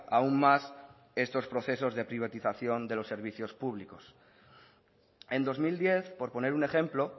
aún más estos procesos de privatización de los servicios públicos en dos mil diez por poner un ejemplo